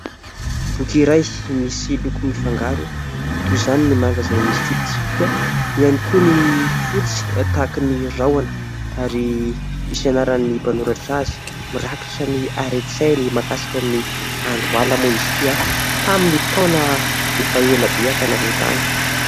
Boky iray misy loko mifangaro, toy izany ny manga izay misy tsipitsipika, eo ihany koa ny fotsy tahaky ny rahona ary misy anaran'ny mpanoratra azy, mirakotra ny hare-tsainy mahakasika ny andro ala moa izy ity tamin'ny taona efa ela be tany aloha tany.